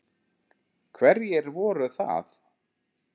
Hverjir voru það?